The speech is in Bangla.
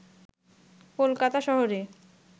কলকাতা শহরে